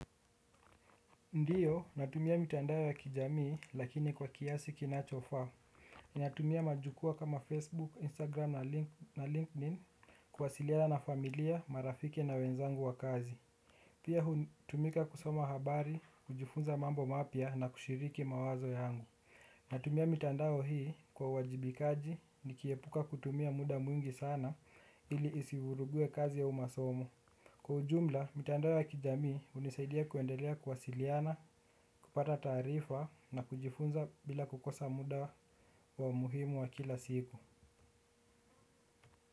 Ndiyo, natumia mitandao ya kijamii lakini kwa kiasi kinachofaa. Natumia majukwaa kama Facebook, Instagram na LinkedIn kuwasiliana na familia, marafiki na wenzangu wa kazi. Pia hutumika kusoma habari, kujifunza mambo mapya na kushiriki mawazo yangu. Natumia mitandao hii kwa uwajibikaji nikiepuka kutumia muda mwingi sana ili isivuruge kazi au masomo. Kwa ujumla, mitandao ya kijami unisaidia kuendelea kuwasiliana, kupata taarifa na kujifunza bila kukosa muda wa muhimu wa kila siku.